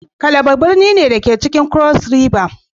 Calabar birni ne, da ke cikin cross river